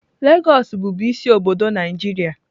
Lagos bụbu isi obodo Naịjirịa.